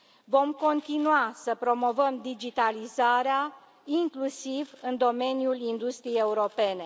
Vom continua să promovăm digitalizarea, inclusiv în domeniul industriei europene.